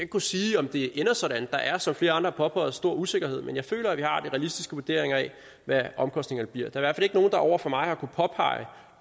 kunne sige om det ender sådan der er som flere andre har påpeget stor usikkerhed men jeg føler at vi har de realistiske vurderinger af hvad omkostningerne bliver der er i ikke nogen der over for mig har kunnet påpege